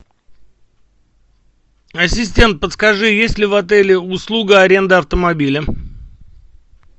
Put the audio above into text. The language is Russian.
ассистент подскажи есть ли в отеле услуга аренда автомобиля